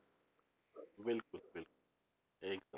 ਬਿਲਕੁਲ ਬਿਲਕੁਲ ਸਹੀ ਕਿਹਾ